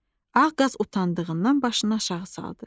Ağ qaz utandığından başını aşağı saldı.